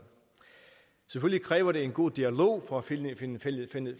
selvfølgelig kræver det en god dialog for at finde